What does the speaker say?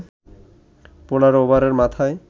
১৫ ওভারের মাথায়